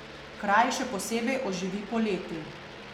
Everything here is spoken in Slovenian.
Kraj še posebej oživi poleti.